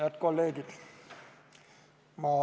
Head kolleegid!